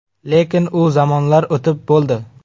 Lekin u zamonlar o‘tib bo‘ldi.